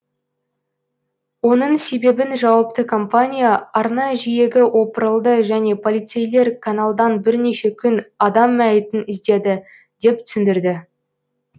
оның себебін жауапты компания арна жиегі опырылды және полицейлер каналдан бірнеше күн адам мәйітін іздеді деп түсіндірді